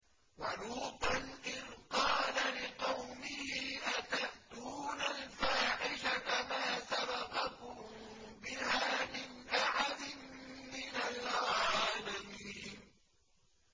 وَلُوطًا إِذْ قَالَ لِقَوْمِهِ أَتَأْتُونَ الْفَاحِشَةَ مَا سَبَقَكُم بِهَا مِنْ أَحَدٍ مِّنَ الْعَالَمِينَ